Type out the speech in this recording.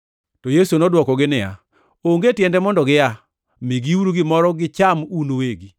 To Yesu nodwokogi niya, “Onge tiende mondo gia. Migiuru gimoro gicham un uwegi.”